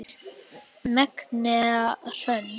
Magnea Hrönn.